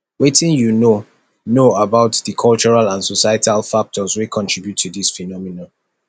wetin you know know about di cultural and societal factors wey contribute to dis phenomenon